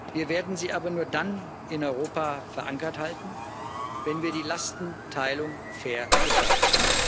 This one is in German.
Wir werden sie aber nur dann in Europa verankert halten, wenn wir die Lastenteilung fair gestalten.